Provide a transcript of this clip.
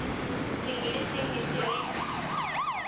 sengwe le sengwe se re